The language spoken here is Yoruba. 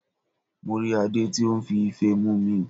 Mo rí Adé tí ó n fi Ife mumi